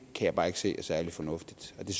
kan jeg bare ikke se er særlig fornuftigt og det